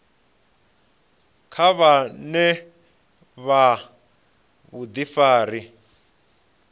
kha vha vhe na vhudifari